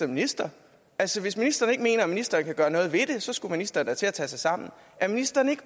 minister altså hvis ministeren ikke mener at ministeren kan gøre noget ved det skulle ministeren da til at tage sig sammen er ministeren ikke